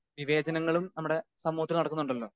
Speaker 2 വിവേചനങ്ങളും നമ്മുടെ സമൂഹത്തിൽ നടക്കുന്നുണ്ടല്ലോ?